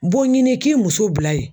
Bon ɲini k'i muso bila ye.